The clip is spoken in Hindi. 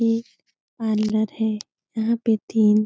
एक पार्लर है यहाँ पे तीन --